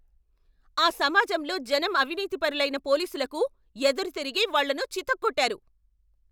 ఆ సమాజంలో జనం అవినీతిపరులైన పోలీసులకు ఎదురుతిరిగి వాళ్ళను చితక్కొట్టారు.